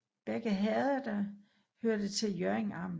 Begge herreder hørte til Hjørring Amt